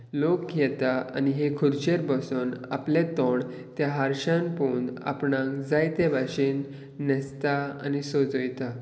लोक येता आणि त्या खुर्चेर बसोन आपले तोंड त्या हारश्यान पळोवन आपणांक जाय त्या भाशेन नेस्ता आनी सोजयता.